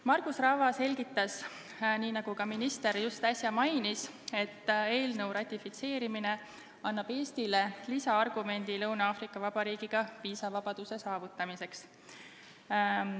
Margus Rava selgitas, nii nagu minister just äsja mainis, et eelnõu ratifitseerimine annab Eestile lisaargumendi Lõuna-Aafrika Vabariigiga viisavabaduse saavutamiseks.